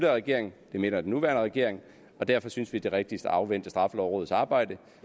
regering det mener den nuværende regering og derfor synes vi det er rigtigst at afvente straffelovrådets arbejde